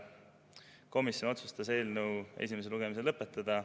Komisjon otsustas eelnõu esimese lugemise lõpetada.